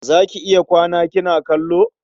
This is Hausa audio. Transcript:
Za ki iya kwana kina kallo?